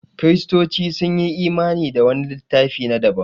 Kiristoci sun yi imani da wani littafi na daban